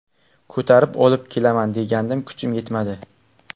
Ko‘tarib olib kelaman degandim kuchim yetmadi.